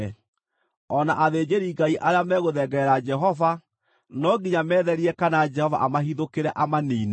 O na athĩnjĩri-Ngai arĩa me gũthengerera Jehova, no nginya metherie kana Jehova amahithũkĩre, amaniine.”